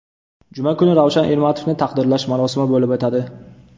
Juma kuni Ravshan Ermatovni taqdirlash marosimi bo‘lib o‘tadi.